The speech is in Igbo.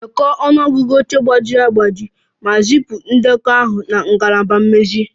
Dekọọ ọnụ ọgụgụ oche gbajiri agbaji ma zipụ ndekọ ahụ na ngalaba mmezi